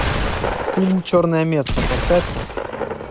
фильм черная месса поставь ка